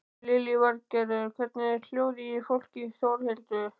Lillý Valgerður: Hvernig er hljóðið í fólki Þórhildur?